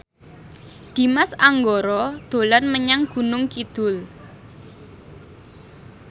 Dimas Anggara dolan menyang Gunung Kidul